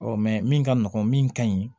min ka nɔgɔn min ka ɲi